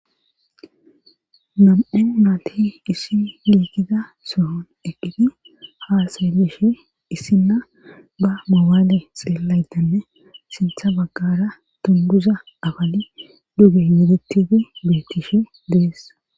Nam7en maalti issi liikida sohon eqqiti haasalishe issinna ba mowaale xeellaydanne sintha baggara tunduza afali duge yedettiti bettishe dees.